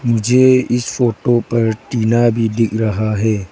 मुझे इस फोटो पर टीना भी दिख रहा है।